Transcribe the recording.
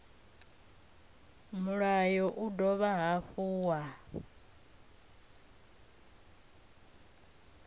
mulayo u dovha hafhu wa